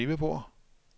skrivebord